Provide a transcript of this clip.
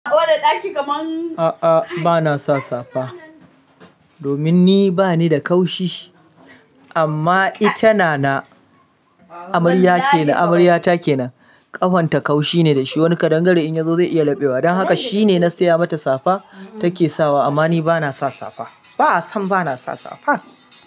A'a bana sa safa domin ni bani da kaushi amma ita na na amarya ke nan amarya take nan ƙahon ta kaushi ne da shi. Wani kaɗangare in ya zo zai iya labewa. Don haka shine na siya mata safa take sawa amma ni bana sa safa. Ba'a san bana sa safa.